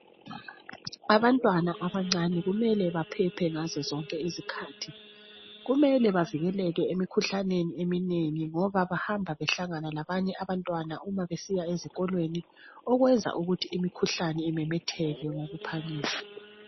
abantwana abancane kumele baphephe ngazo zonke izikhathi kumele bavikeleke emikhuhlaneni eminengi ngoba bahamba behlangana labanye abantwana uma besiya esikolweni okwenza ukuthi imikhuhlane imemetheke ngokuphangisa